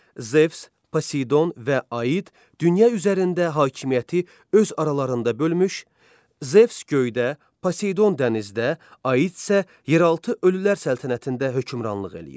Zevs, Poseydon və Aid dünya üzərində hakimiyyəti öz aralarında bölmüş, Zevs göydə, Poseydon dənizdə, Aid isə yeraltı ölülər səltənətində hökmranlıq eləyir.